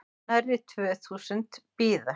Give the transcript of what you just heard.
Nærri tvö þúsund bíða